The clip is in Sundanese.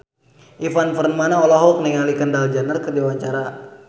Ivan Permana olohok ningali Kendall Jenner keur diwawancara